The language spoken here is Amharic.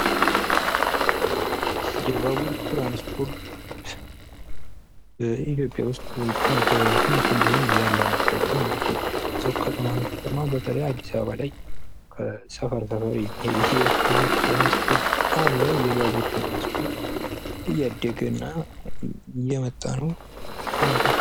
የባቡር ትራንስፖርት በኢትዮጵያ ውስጥ በትንሹም ቢሆን ያለ ነገር ነው ።በከተማ በተለይ አዲስአበባ ላይ ከሰፈር ሰፈር የሚሄድ የባቡር ትራንስፖርት አለ። የባቡር ትራንስፖርት እያደገ ነው ።